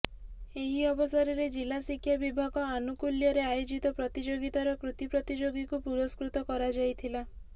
ଏହି ଅବସରରେ ଜିଲ୍ଲା ଶିକ୍ଷା ବିଭାଗ ଆନୁକୁଲ୍ୟରେ ଆୟୋଜିତ ପ୍ରତିଯୋଗିତାର କୃତୀ ପ୍ରତିଯୋଗୀଙ୍କୁ ପୁରସ୍କୃତ କରାଯାଇଥିଲା